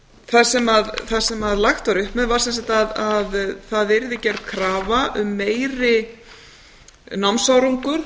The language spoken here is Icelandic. það sem lagt var upp með var sem sagt að það yrði gerð krafa um meiri námsárangur